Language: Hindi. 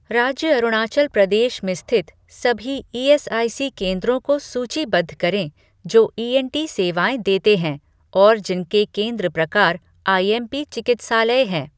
राज्य अरुणाचल प्रदेश में स्थित सभी ईएसआईसी केंद्रों को सूचीबद्ध करें जो ईएनटी सेवाएँ देते हैं और जिनके केंद्र प्रकार आईएमपी चिकित्सालय हैं।